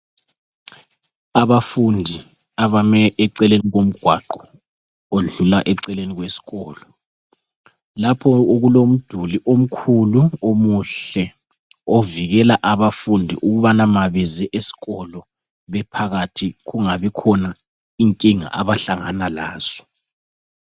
Abafundi abame eceleni komgwaqo odlula eceleni kwesikolo. Lapho okulomduli omkhulu omuhle ovikela abafundi ukubana ma beze esikolo bephakathi kungabi khona inkinga abahlangana lazo.